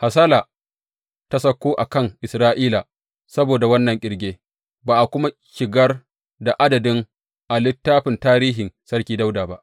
Hasala ta sauko a kan Isra’ila saboda wannan ƙirge, ba a kuma shigar da adadin a littafin tarihin Sarki Dawuda ba.